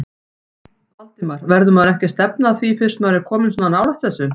Valdimar: Verður maður ekki að stefna að því fyrst maður er kominn svona nálægt þessu?